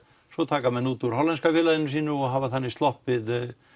svo taka menn út úr hollenska félaginu sínu og hafa þannig sloppið